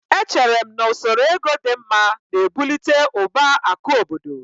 Echere m na usoro ego dị mma na-ebụlite ụba akụ obodo